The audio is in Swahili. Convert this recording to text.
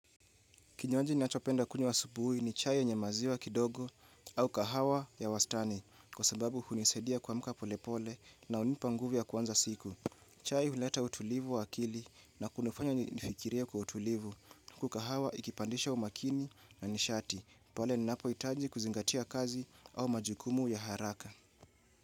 Kinywaji ninachopenda kunywa asubuhi ni chai yenye maziwa kidogo au kahawa ya wastani kwa sababu hunisidia kuamka pole pole na unipa nguvu ya kuanza siku. Chai huleta utulivu wa akili na kunifanya nifikirie kwa utulivu huku kahawa ikipandisha umakini na nishati pole ninapohitanji kuzingatia kazi au majukumu ya haraka.